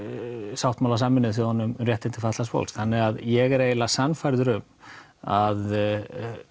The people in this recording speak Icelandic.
sáttmála Sameinuðu þjóðanna um réttindi fatlaðs fólks þannig ég er eiginlega sannfærður um að